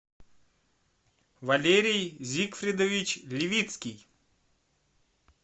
валерий зигфридович левицкий